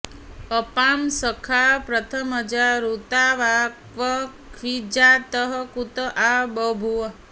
अपां सखा प्रथमजा ऋतावा क्व स्विज्जातः कुत आ बभूव